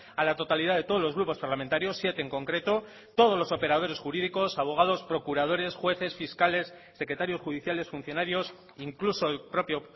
a la totalidad de todos los grupos parlamentarios siete en concreto todos los operadores jurídicos abogados procuradores jueces fiscales secretarios judiciales funcionarios incluso el propio